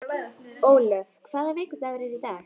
Ólöf, hvaða vikudagur er í dag?